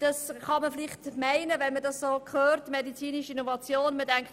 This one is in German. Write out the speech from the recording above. Das kann man auf den ersten Blick annehmen, wenn man den Begriff «medizinische Innovation» liest.